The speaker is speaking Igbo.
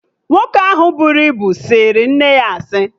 Nwoke ahụ buru ibu sịrị nne ya asị